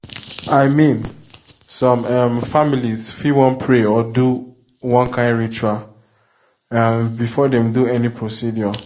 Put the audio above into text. i mean some um families fit wan pray or do do one kind ritual um before dem do any procedure.